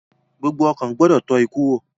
Gbogbo ọkàn gbọdọ tọ́ ikú wò